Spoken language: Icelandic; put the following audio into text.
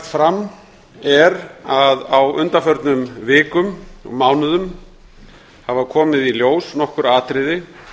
fram er að á undanförnum vikum og mánuðum haf komið í ljós nokkur atriði